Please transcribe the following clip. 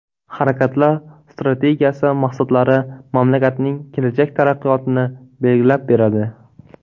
Harakatlar strategiyasi maqsadlari mamlakatning kelajak taraqqiyotini belgilab beradi.